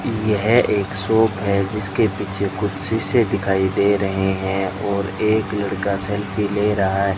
यह एक शॉप है जिसके पीछे कुछ सीसे दिखाई दे रहे है और एक लड़का सेल्फी ले रहा --